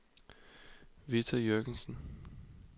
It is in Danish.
Vita Jürgensen